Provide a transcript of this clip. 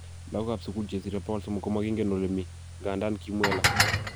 Lagokab sugul che sire 300 komokingen olemii, ngandan kimwei alak